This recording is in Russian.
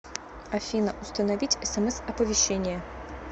афина установить смс оповещение